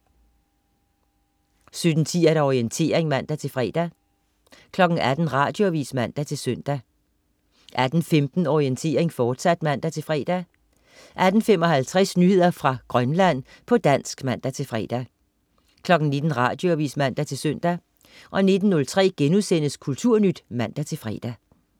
17.10 Orientering (man-fre) 18.00 Radioavis (man-søn) 18.15 Orientering, fortsat (man-fre) 18.55 Nyheder fra Grønland, på dansk (man-fre) 19.00 Radioavis (man-søn) 19.03 Kulturnyt* (man-fre)